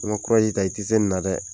Ni ma kurazi i tɛ se ni na dɛ